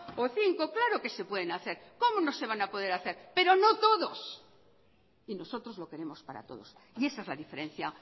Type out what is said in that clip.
o cinco claro que se pueden hacer cómo no se van a poder hacer pero no todos y nosotros lo queremos para todos y esa es la diferencia